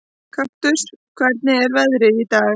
Kaktus, hvernig er veðrið í dag?